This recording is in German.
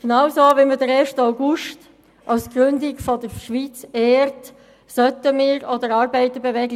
Genauso wie wir den 1. August zur Gründung der Schweiz ehren, sollten wir auch der Arbeiterbewegung